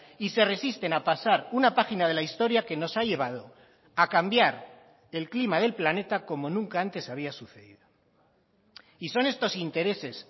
y se resisten a pasar una página de la historia que nos ha llevado a cambiar el clima del planeta como nunca antes había sucedido y son estos intereses